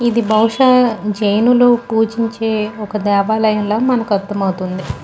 ఇది భావుష జైన్ లు పుగించే దేవాలయం ల మనకి అర్ధం అవుతుంది.